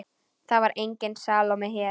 Það var engin Salóme hér.